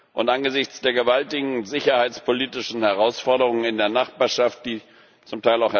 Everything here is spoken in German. Und angesichts der gewaltigen sicherheitspolitischen Herausforderungen in der Nachbarschaft, die z.